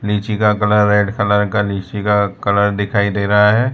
लीची का colour red colour का लीची का कलर दिखाई दे रहा है।